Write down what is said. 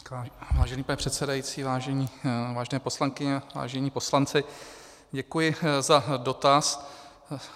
Vážený pane předsedající, vážené poslankyně, vážení poslanci, děkuji za dotaz.